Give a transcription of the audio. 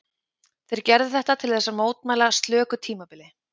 Þeir gerðu þetta til þess að mótmæla slöku tímabili.